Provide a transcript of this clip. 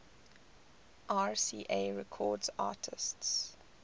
rca records artists